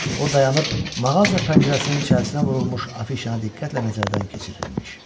O dayanıb, mağaza pəncərəsinin içərisinə vurulmuş afişanı diqqətlə nəzərdən keçirirmiş.